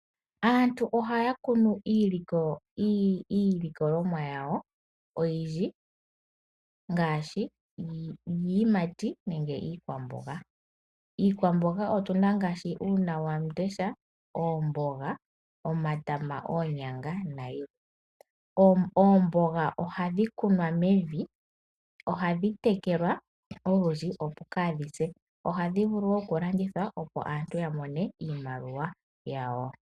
Aantu ohaya kunu iilikolomwa yawo oyindji ngaashi iiyimati nenge iikwamboga. Iikwamboga otuna ngaashi uuna wamundesha ,oomboga, omatama ,oonyanga nayilwe ,oomboga ohadhi kunwa mevi ohadhi tekelwa okundji opo kadhise . Ohadhi vulu woo okulandithwa opo aantu yamone iimaliwa yawo.